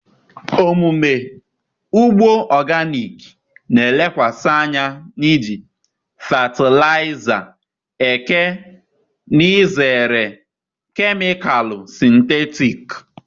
omume ugbo organic na-elekwasị anya n'iji fatịlaịza eke na izere kemịkalụ sịntetik.